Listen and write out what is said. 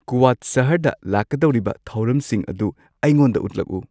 ꯀꯨꯋꯥꯗ ꯁꯍꯔꯗ ꯂꯥꯛꯀꯗꯧꯔꯤꯕ ꯊꯧꯔꯝꯁꯤꯡ ꯑꯗꯨ ꯑꯩꯉꯣꯟꯗ ꯎꯠꯂꯛꯎ